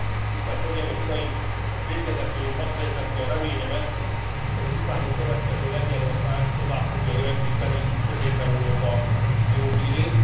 Tisztelt hölgyeim és uraim, végezetül hadd fejezzem ki a reményemet, hogy az utánunk következő Lengyelország tovább fogja öregbíteni Közép Európa jó hírét.